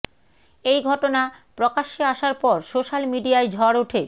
এই ঘটনা প্রকাশ্য়ে আসার পর সোশ্য়াল মিডিয়ায় ঝড় ওঠে